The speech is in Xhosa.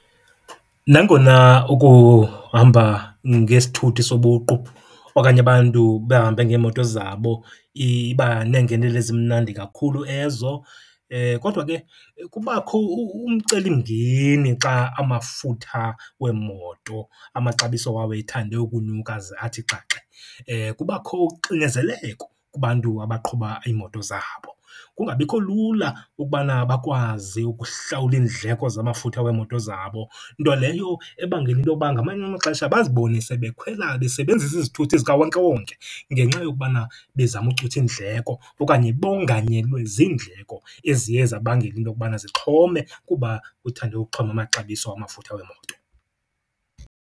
Nangona ukuhamba ngesithuthi sobuqu okanye abantu bahambe ngeemoto zabo iba neengenelo ezimnandi kakhulu ezo, kodwa ke kubakho umcelimngeni xa amafutha weemoto amaxabiso wawo ethande ukunyuka ze athi xaxe. Kubakho uxinezeleko kubantu abaqhuba iimoto zabo, kungabikho lula ukubana bakwazi ukuhlawula iindleko zamafutha weemoto zabo. Nto leyo ebangela intoba ngamanye amaxesha bazibone sebekhwela, besebenzisa izithuthi zikawonkewonke ngenxa yokubana bezama ucutha iindleko okanye bonganyelwe ziindleko eziye zabangela into okubana zixhome kuba kuthande ukuxhoma amaxabiso amafutha weemoto.